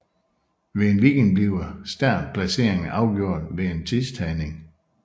Ved en weekend bliver startplaceringerne afgjort ved en tidstagning